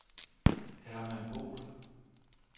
Hermann Boll